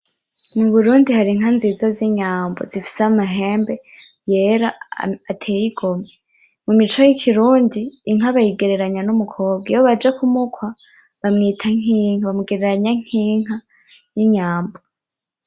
Muburundi har'inka nzinza z'inyambo zifise amahembe yera ateye igomwe. Mumico y'ikirundi, inka bayigereranya n'umukobwa, iyo baje kumukwa bamwita nk'inka, bamugereranya nk'inka y'inyambo.